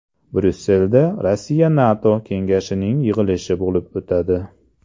Bryusselda RossiyaNATO Kengashining yig‘ilishi bo‘lib o‘tadi.